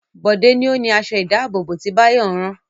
Bọ̀dé ni ó ni aṣọ-ìdáàbòbò tí Báyọ̀ ń rán.